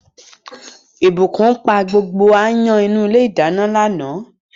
Blessing pa gbogbo áyán inú ilé ìdáná lánàá.